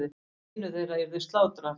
Einu þeirra yrði slátrað.